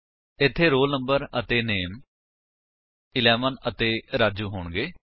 ਇੱਥੇ roll number ਅਤੇ ਨਾਮੇ 11 ਅਤੇ ਰਾਜੂ ਹੋਣਗੇ